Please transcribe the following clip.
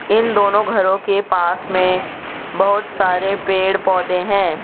इन दोनों घरों के पास में बहोत सारे पेड़ पौधे हैं।